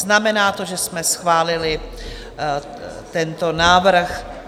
Znamená to, že jsme schválili tento návrh.